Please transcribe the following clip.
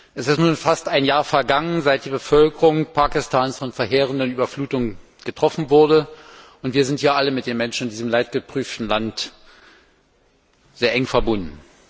Es ist nun fast ein Jahr vergangen, seit die Bevölkerung Pakistans von verheerenden Überflutungen getroffen wurde. Wir sind ja alle mit den Menschen in diesem leidgeprüften Land sehr eng verbunden.